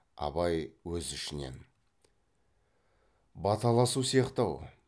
абай өз ішінен баталасу сияқты ау